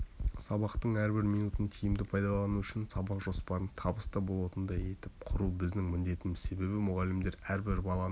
сабақтың әрбір минутын тиімді пайдалану үшін сабақ жоспарын табысты болатындай етіп құру біздің міндетіміз себебі мұғалімдер әрбір баланың